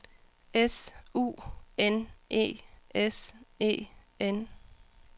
S U N E S E N